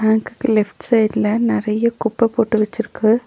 பேங்க்குக்கு லெஃப்ட் சைட்ல நெறைய குப்ப போட்டு வெச்சிருக்கு.